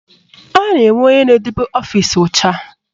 A na-enwe onye na-edebe ọfịsi ọcha